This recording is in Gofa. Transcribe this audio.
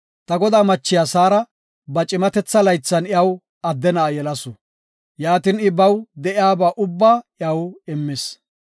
Ta godaa machiya Saara ba cimatetha laythan iyaw adde na7a yelasu. Yaatin I baw de7iyaba ubba iyaw immis.